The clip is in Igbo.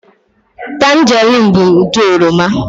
Tanjeriin bụ ụdị oroma.